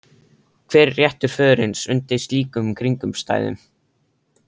Hver er réttur föðurins undir slíkum kringumstæðum?